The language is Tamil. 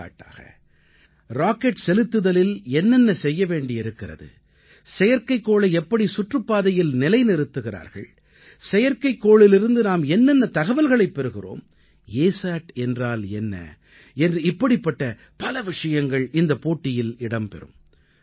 எடுத்துக்காட்டாக ராக்கெட் செலுத்துதலில் என்னென்ன செய்ய வேண்டி இருக்கிறது செயற்கைக்கோளை எப்படி சுற்றுப் பாதையில் நிலைநிறுத்துகிறார்கள் செயற்கைக்கோளிலிருந்து நாம் என்னென்ன தகவல்களைப் பெறுகிறோம் அசாட் என்றால் என்ன என்று இப்படிப்பட்ட பல விஷயங்கள் இந்தப் போட்டியில் இடம்பெறும்